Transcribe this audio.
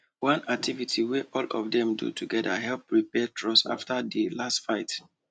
one activity wey all of dem do together help repair trust after di last fight